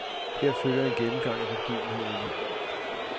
Her følger en gennemgang af begivenhederne.